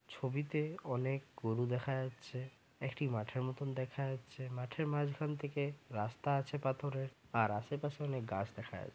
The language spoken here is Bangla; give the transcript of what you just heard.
ছবিতে অনেক গরু দেখা যাচ্ছে। একটি মাঠের মতন দেখা যাচ্ছে। মাঠের মাঝখান থেকে রাস্তা আছে পাথরের আর আশেপাশে অনেক গাছ দেখা যা --